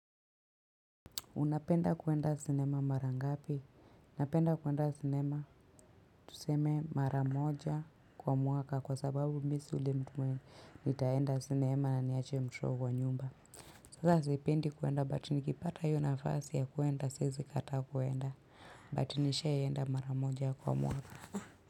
Unapenda kuenda sinema mara ngapi? Napenda kuenda sinema tuseme mara moja kwa mwaka kwa sababu mi si yule mtu mwenye nitaenda sinema na niache mtoto kwa nyumba. Sasa sipendi kuenda but nikipata hiyo nafasi ya kuenda siwezi kataa kuenda but nishaienda mara moja kwa mwaka.